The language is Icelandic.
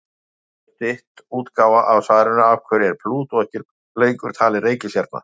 Þetta svar er stytt útgáfa af svarinu Af hverju er Plútó ekki lengur talin reikistjarna?